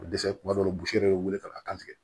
Dɛsɛ kuma dɔw la bose yɛrɛ bɛ wele ka tigɛ